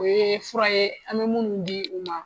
O ye fura ye an mɛ munnu di u ma